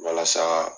Walasa